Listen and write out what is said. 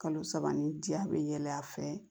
Kalo saba nin di a be yɛlɛ a fɛ